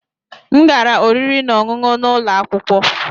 M gara oriri na ọṅụṅụ n'ụlọ akwụkwọ.